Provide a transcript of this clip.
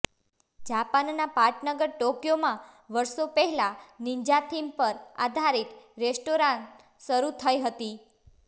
જપાનના પાટનગર ટોક્યોમાં વર્ષો પહેલાં નિન્જા થીમ પર આધારિત રેસ્ટોરાં શરૂ થઈ હતી